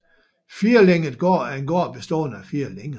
Firlænget gård er en gård bestående af fire længer